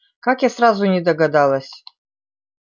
как я сразу не догадалась